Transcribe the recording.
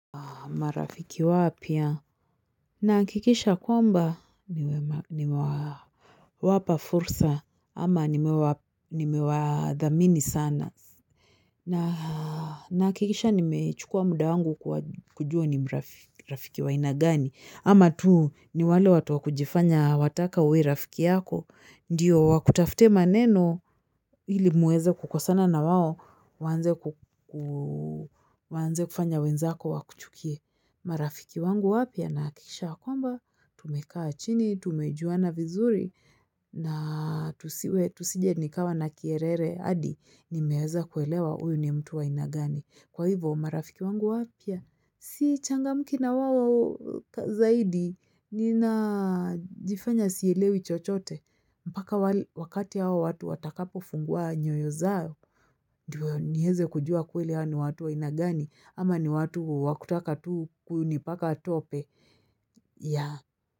Marafiki wapya nahakikisha kwamba nimewapa fursa ama nimewadhamini sana nahakikisha nimechukua muda wangu kujua ni rafiki wa aina gani ama tu ni wale watu wakujifanya wataka wawe rafiki yako. Ndiyo wakutafute maneno ili muweze kukosana na wao, waanze kufanya wenzako wakuchukie. Marafiki wangu wapya nahakikisha ya kwamba, tumekaa chini, tumejuana vizuri, na tusije nikawa na kiherehere hadi, nimeweza kuelewa huyu ni mtu wa aina gani. Kwa hivyo, marafiki wangu wapya? Sichangamki na wao zaidi, ninajifanya sielewi chochote. Mpaka wakati hawa watu watakapo fungua nyoyo zao. Ndio niweze kujua kweli hawa ni watu wa aina gani, ama ni watu wa kutaka tu kunipaka tope. Ya.